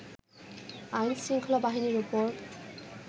আইনশৃঙ্খলা বাহিনীর ওপর